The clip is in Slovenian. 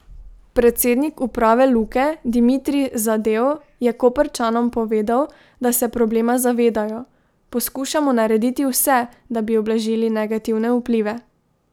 Predsednik uprave Luke Dimitrij Zadel je Koprčanom povedal, da se problema zavedajo: "Poskušamo narediti vse, da bi ublažili negativne vplive.